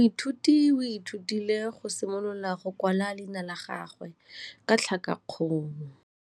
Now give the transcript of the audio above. Moithuti o ithutile go simolola go kwala leina la gagwe ka tlhakakgolo.